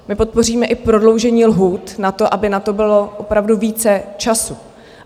My podpoříme i prodloužení lhůt na to, aby na to bylo opravdu více času.